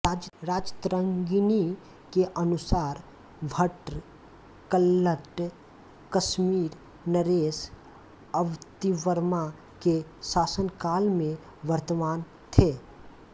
राजतरंगिणी के अनुसार भट्ट कल्लट कश्मीर नरेश अवंतिवर्मा के शासनकाल में वर्तमान थे